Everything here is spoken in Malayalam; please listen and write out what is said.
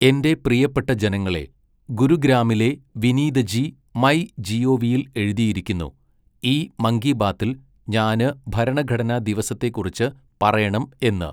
എന്റെ പ്രിയപ്പെട്ട ജനങ്ങളേ, ഗുരുഗ്രാമിലെ വിനീതജി മൈ ജിഒവിയിൽ എഴുതിയിരിക്കുന്നു, ഈ മൻ കീ ബാത്തിൽ ഞാന് ഭരണഘടനാ ദിവസത്തെക്കുറിച്ച് പറയണം എന്ന്.